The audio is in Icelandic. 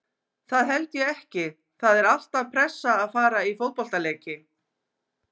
Það held ég ekki, það er alltaf pressa að fara í fótboltaleiki.